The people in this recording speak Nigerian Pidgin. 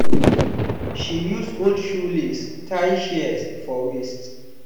she use old shoe lace tie shears for waist.